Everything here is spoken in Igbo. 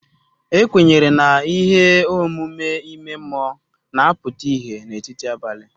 Ekwenyere na ihe omume ime mmụọ na-apụta ìhè n'etiti abalị.